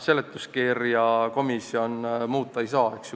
Seletuskirja komisjon muuta ei saa.